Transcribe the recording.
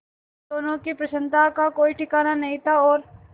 दोनों की प्रसन्नता का कोई ठिकाना नहीं था और